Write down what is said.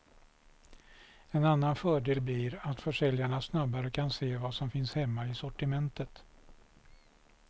En annan fördel blir att försäljarna snabbare kan se vad som finns hemma i sortimentet.